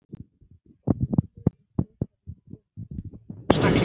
Silfur er svokallað frumefni.